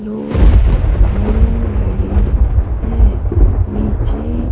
लोग घूम रहे हैं नीचे--